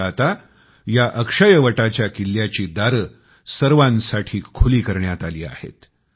मात्र आता या अक्षयवटाच्या किल्याची दारं सर्वांसाठी खुली करण्यात आली आहेत